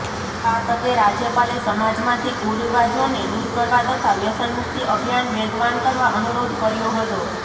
આ તકે રાજયપાલે સમાજમાંથી કુરિવાજોને દૂર કરવા તથા વ્યસનમુક્તિ અભિયાન વેગવાન કરવા અનુરોધ કર્યો હતો